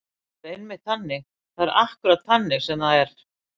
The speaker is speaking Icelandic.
Það er einmitt þannig. það er akkúrat þannig sem það er.